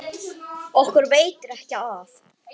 Okkur veitir ekki af.